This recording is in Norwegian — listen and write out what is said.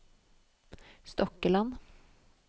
Stokkeland